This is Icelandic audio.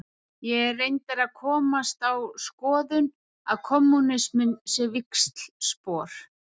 Ég er reyndar að komast á þá skoðun að kommúnisminn sé víxlspor.